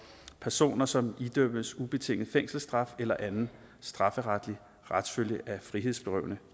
personer som idømmes ubetinget fængselsstraf eller anden strafferetlig retsfølge af frihedsberøvende